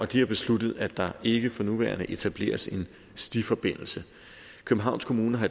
de har besluttet at der ikke for nuværende etableres en stiforbindelse københavns kommune har